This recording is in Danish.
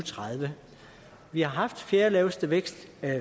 tredive vi har haft den fjerdelaveste vækst